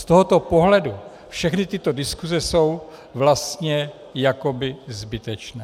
Z tohoto pohledu všechny tyto diskuse jsou vlastně jakoby zbytečné.